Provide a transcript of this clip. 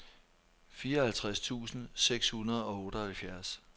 fireoghalvtreds tusind seks hundrede og otteoghalvfjerds